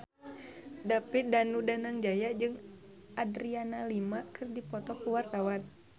David Danu Danangjaya jeung Adriana Lima keur dipoto ku wartawan